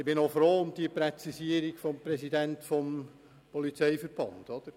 Ich bin dankbar für die Präzisierung des Präsidenten des Polizeiverbandes.